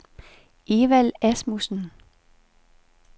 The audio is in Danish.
Evald Asmussen